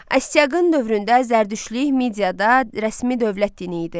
Astiaqın dövründə Zərdüştlük Midiyada rəsmi dövlət dini idi.